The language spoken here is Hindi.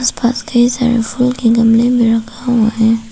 आसपास कई सारे फूल के गमले में रखा हुआ है।